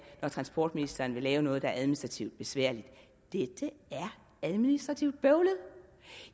når transportministeren vil lave noget der er administrativt besværligt dette er administrativt bøvlet